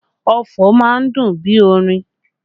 Ọfọ̀ má ń dùn bí orin